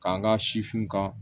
K'an ka sifinw kan